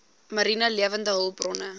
mariene lewende hulpbronne